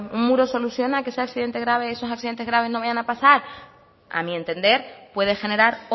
un muro soluciona que esos accidentes graves no vayan a pasar a mi entender puede generar